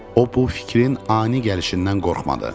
O bu fikrin ani gəlişindən qorxmadı.